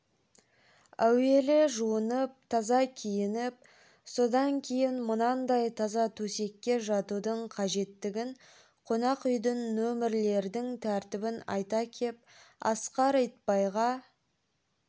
әуелі жуынып таза киініп содан кейін мынандай таза төсекке жатудың қажеттігін қонақ үйдің нөмердің тәртібін айта кеп асқар итбайға